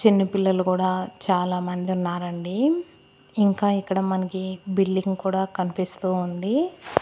చిన్నపిల్లలు కూడా చాలామంది ఉన్నారండి ఇంకా ఇక్కడ మనకి బిల్డింగ్ కూడా కనిపిస్తూ ఉంది.